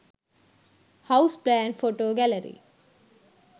house plan photo gallery